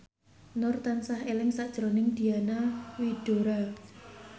Nur tansah eling sakjroning Diana Widoera